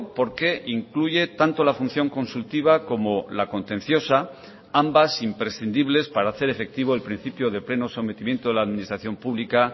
porque incluye tanto la función consultiva como la contenciosa ambas imprescindibles para hacer efectivo el principio de pleno sometimiento de la administración pública